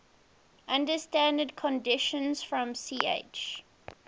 under standard conditions from ch